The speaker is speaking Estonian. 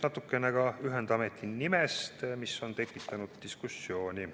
Natukene ka ühendameti nimest, mis on tekitanud diskussiooni.